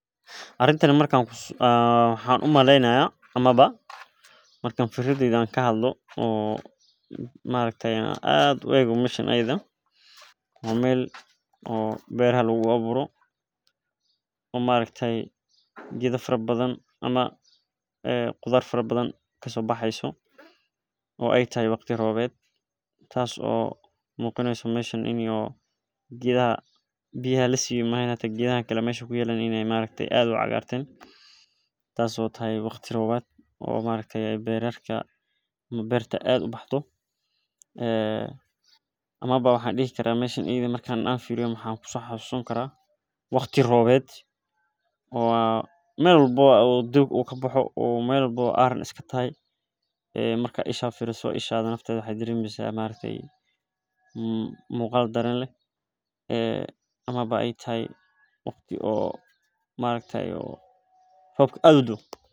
Arintan waxaan umaleynaya markaan fikradeyda ka qeyb qaato waxaay ku tusi haysa inuu xaqooda hal yahay mid sharciyeysan ujaro masuuliyad deeganka asago aan kafikirin waxaa waye inaad gacanta lagu shaqeynayo hadaba intaas waye inaad sarif ayuu rabaa inaad sarif ooga baahatid sido kale waa qeyb kamid ah aan waxbo in la isticmaalo waxeey kobcisa dalaga ilaa laba jeer waxa halkan kasocdo waxa waye waqtiga safarka suuqa.